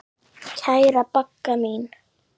Kæra Bagga mín.